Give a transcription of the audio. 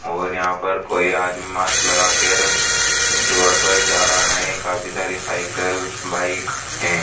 और यहां पर कोई आदमी मास्क लगा केर रोड पर जा रहा है काफी सारी साइकल बाइक हैं।